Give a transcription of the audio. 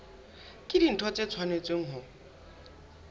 ke dintho tse tshwanetseng ho